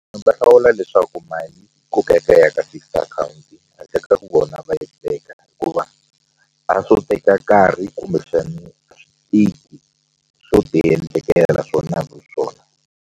Ndzi nga hlawula leswaku mali yi kokeka yi ya ka fixed akhawunti handle ka ku vona va yi teka hikuva a swo teka nkarhi kumbexani a swi tiki swo tiendlekela swona hi swona.